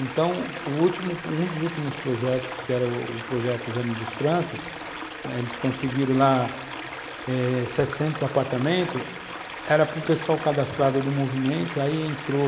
Então, o último, um dos últimos projetos, que era o projeto Jane dos Francos, né, eles conseguiram lá eh setecentos apartamentos, era para o pessoal cadastrado do movimento, aí entrou